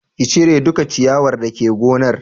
Ka cire duka ciyawar dake gonar